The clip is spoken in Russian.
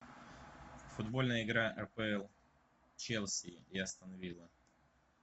футбольная игра апл челси и астон вилла